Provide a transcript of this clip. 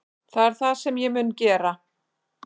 Það er það sem ég mun gera